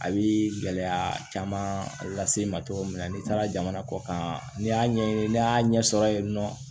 A bi gɛlɛya caman lase i ma cogo min na n'i taara jamana kɔkan n'i y'a ɲɛɲini n'i y'a ɲɛsɔrɔ yen nɔ